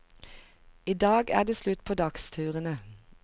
I dag er det slutt på dagsturene.